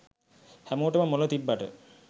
හැමෝටම මොල තිබ්බට